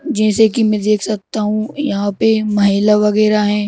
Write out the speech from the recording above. जैसे कि मैं देख सकता हूं यहां पे महिला वगैरह हैं।